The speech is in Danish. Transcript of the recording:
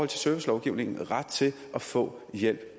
til servicelovgivningen ret til at få hjælp